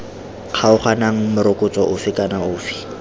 kgaoganang morokotso ofe kana ofe